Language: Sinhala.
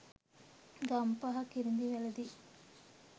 ගම්පහ කිරිඳිවැලදී